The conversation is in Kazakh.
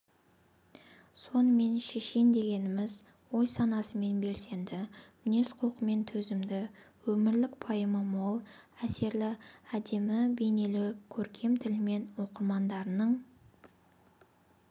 сонымен шешен дегеніміз ойсанасымен белсенді мінез-құлқымен төзімді өмірлік пайымы мол әсерлі әдемі бейнелі көркем тілімен оқырмандарының